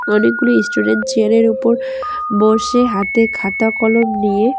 অনেকগুলো student chair -এর উপর বসে হাতে খাতা কলম নিয়ে।